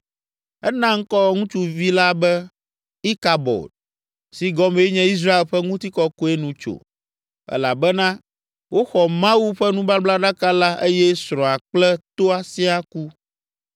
Ena ŋkɔ ŋutsuvi la be, “Ikabod” si gɔmee nye “Israel ƒe ŋutikɔkɔe nu tso.” Elabena woxɔ Mawu ƒe nubablaɖaka la eye srɔ̃a kple toa siaa ku.